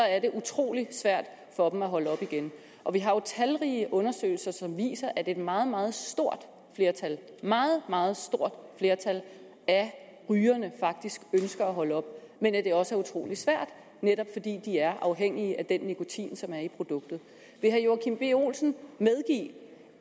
er det utrolig svært for dem at holde op igen og vi har jo talrige undersøgelser som viser at et meget meget stort flertal meget meget stort flertal af rygerne faktisk ønsker at holde op men at det også er utrolig svært netop fordi de er afhængige af den nikotin som er i produktet vil herre joachim b olsen medgive